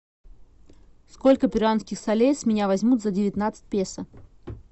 сколько перуанских солей с меня возьмут за девятнадцать песо